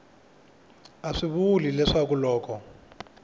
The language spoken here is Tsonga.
a swi vuli leswaku loko